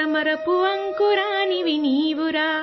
ریناڈو صوبہ کے سورج،